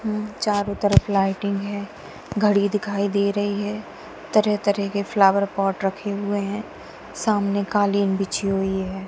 चारों तरफ लाईटिंग है घड़ी दिखाई दे रही है तरह तरह के फ्लावर पॉट रखे हुए हैं सामने कालीन बिछी हुई है।